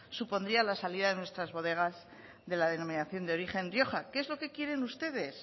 supondría la salida de nuestras bodegas de la denominación de origen rioja que es lo que quieren ustedes